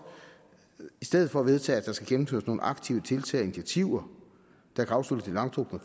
i stedet for kan vedtage at der skal gennemføres nogle aktive tiltag og initiativer der kan afslutte det langtrukne